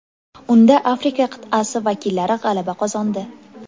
Unda Afrika qit’asi vakillari g‘alaba qozondi.